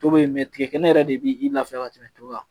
To bɛ yen tigɛ kɛnɛ yɛrɛ de b'i lafiya ka tɛmɛ to kan